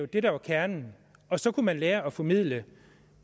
det der er kernen og så kunne man lære at formidle